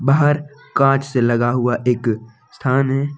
बाहर कांच से लगा हुआ एक स्थान है।